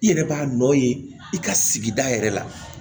I yɛrɛ b'a nɔ ye i ka sigida yɛrɛ la